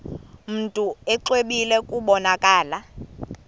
mntu exwebile kubonakala